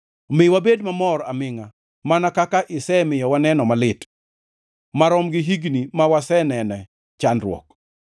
Mi wabed mamor amingʼa mana kaka isemiyo waneno malit, marom gi higni ma wasenene chandruok.